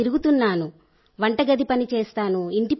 నేను తిరుగుతున్నాను వంటగది పనిచేస్తాను